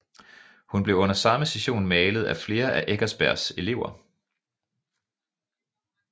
Hun blev under samme session malet af flere af Eckersbergs elever